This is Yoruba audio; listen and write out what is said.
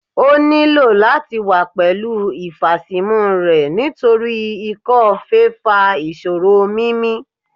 O nilo lati wa pẹlu ifasimu rẹ nitori ikọ-fèé fa iṣoro mimi